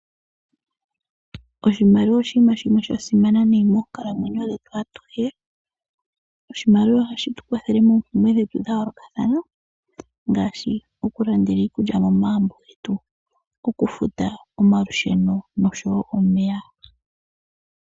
Oshimaliwa oshinima shimwe sha simana nayi mokunkalamwenyo dhetu atuhe. Oshimaliwa ohashi tu kwathele moompumbwe dhetu dha yoolokathana ngaashi oku landela iikulya momagumbo getu, oku futa omalusheno noshowo omeya.